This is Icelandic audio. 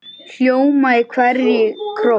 hljóma í hverri kró.